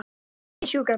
Hringið í sjúkrabíl.